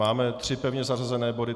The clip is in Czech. Máme tři pevně zařazené body.